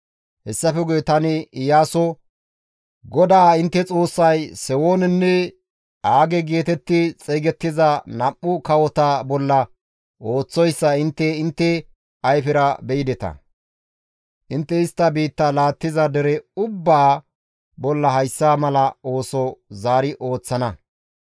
Hayssafe guye tani Iyaaso, «GODAA intte Xoossay Sewoonenne Aage geetetti xeygettiza nam7u kawota bolla ooththoyssa intte intte ayfera be7ideta; intte istta biittaa laattiza dere ubbaa bolla hayssa mala ooso zaari ooththana.